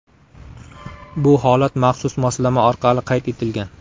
Bu holat maxsus moslama orqali qayd etilgan.